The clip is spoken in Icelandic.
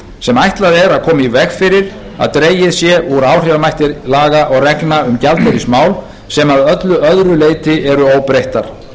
sem ætlað er að koma í veg fyrir að dregið sé úr áhrifamætti laga og reglna um gjaldeyrismál sem að öllu öðru leyti eru óbreyttar